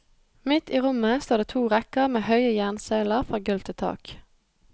Midt i rommet står det to rekker med høye jernsøyler fra gulv til tak.